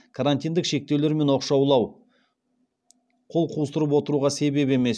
карантиндік шектеулер мен оқшаулау қол қусырып отыруға себеп емес